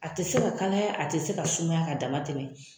A tɛ se ka kalaya a tɛ se ka sumaya ka dama tɛmɛ.